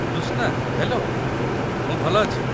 Krishna, hello. ମୁଁ ଭଲ ଅଛି ।